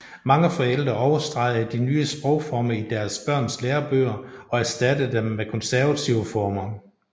Mange forældre overstregede de nye sprogformer i deres børns lærebøger og erstattede dem med konservative former